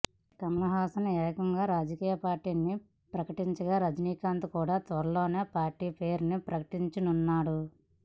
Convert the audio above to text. కమల్ హాసన్ ఏకంగా రాజకీయ పార్టీ ని ప్రకటించగా రజనీకాంత్ కూడా త్వరలోనే పార్టీ పేరు ని ప్రకటించనున్నాడు